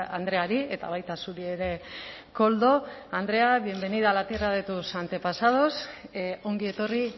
andreari eta baita zuri ere koldo andrea bienvenida a la tierra de tus antepasados ongi etorri